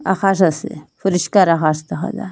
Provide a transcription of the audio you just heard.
আকাশ আসে পরিষ্কার আকাশ দেখা যায়।